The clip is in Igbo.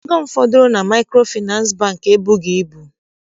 Ego m fọdụrụ na Maịkrofịnansị Bankị ebughị ibu.